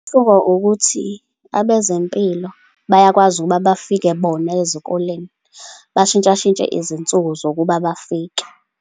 Umehluko ukuthi abezempilo bayakwazi ukuba bafike bona ezikoleni, bashintshashintshe izinsuku zokuba bafike.